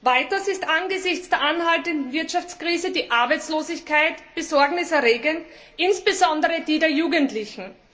Weiters ist angesichts der anhaltenden Wirtschaftskrise die Arbeitslosigkeit besorgniserregend, insbesondere unter Jugendlichen.